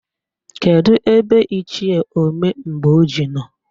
Kedụ ebe Ichie Omemgboji nọ?